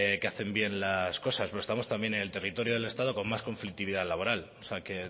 que hacen bien las cosas pero estamos también en el territorio del estado con más conflictividad laboral o sea que